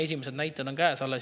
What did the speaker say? Esimesed näitajad on käes.